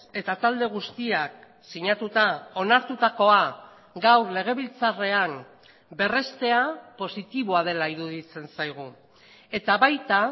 eta talde guztiak sinatuta onartutakoa gaur legebiltzarrean berrestea positiboa dela iruditzen zaigu eta baita